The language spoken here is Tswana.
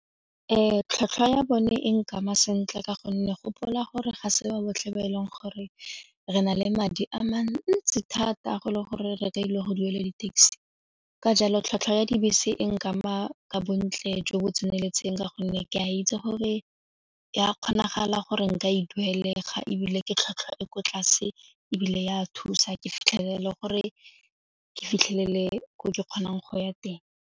We, tlhwatlhwa ya bone e nkama sentle ka gonne gopola gore ga se ba botlhe ba e leng gore re na le madi a mantsi thata go le gore re ka ile go duela di-taxi ka jalo tlhwatlhwa ya dibese e nkama bontle jo bo tseneletseng ka gonne ke a itse gore ya kgonagala gore nka e duelega ebile ke tlhwatlhwa e ko tlase ebile ya thusa gore ke fitlhelele ke kgonang go ya teng.